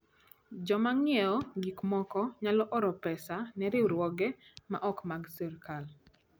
Joma ng'iewo gik moko nyalo oro pesa ne riwruoge ma ok mag sirkal.